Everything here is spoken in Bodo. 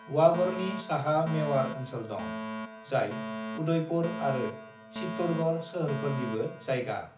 "वागड़नि साहा मेवाड़ ओनसोल दं, जाय उदयपुर आरो चित्तौड़गढ़ सोहोरफोरनिबो जायगा।"